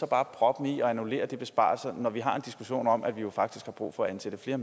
bare proppen i og annullerer de besparelser når vi har en diskussion om at vi jo faktisk har brug for at ansætte flere